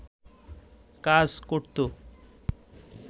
কাজ করত